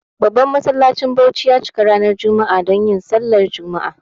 Babban masallacin Bauchi ya cika ranar jumma'a donyin sallah jumma'a.